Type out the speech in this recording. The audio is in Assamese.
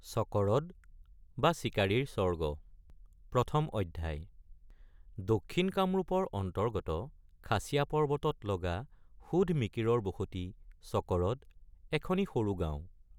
চকৰদ বা চিকাৰীৰ স্বৰ্গ প্ৰথম অধ্যায় দক্ষিণ কামৰূপৰ অন্তৰ্গত খাচীয়৷ পৰ্বতত লগা শুধ মিকিৰৰ বসতি চকৰদ এখনি সৰু গাঁও।